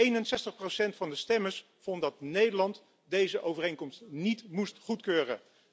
61 van de stemmers vond dat Nederland deze overeenkomst niet moest goedkeuren.